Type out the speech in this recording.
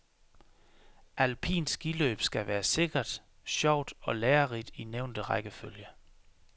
Alpint skiløb skal være sikkert, sjovt og lærerigt i nævnte rækkefølge.